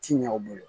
Ti ɲɛ u bolo